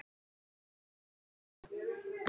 Elinór, hvað geturðu sagt mér um veðrið?